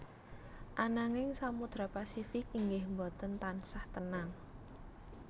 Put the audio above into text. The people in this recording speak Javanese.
Ananging Samodra Pasifik inggih boten tansah tenang